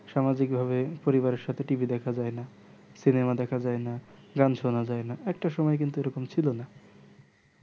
সামাজিক ভাবে পরিবার এর সাথে TV দেখা যাই না cinema দেখা যাই না গান শোনা যাই না একটা সুময় কিন্তু এ রকম ছিলো না